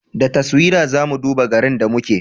Da taswira za mu duba garin da muke